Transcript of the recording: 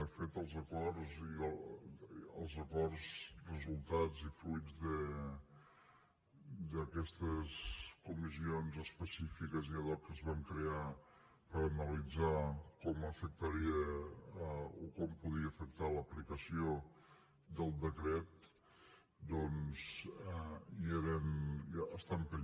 de fet els acords resultats i fruits d’aquestes comissions específiques i ad hocque es van crear per analitzar com afectaria o com podria afectar l’aplicació del decret doncs hi eren